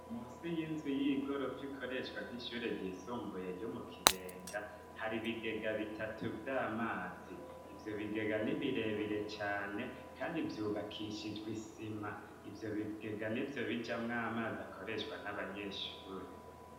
Munsi y'inzu y'igorofa ikoreshwa nk'ishure ryisumbuye ryo mukibenga har'ibigega bitatu vy'amazi. Ivyobigega ni birebire cane kandi vyubakishijwe isima. Ivyobigega nivyo bijamw'amazi akoreshwa n'abanyeshure.